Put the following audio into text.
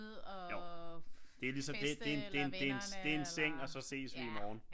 Jo det lige så det en seng og så ses vi i morgen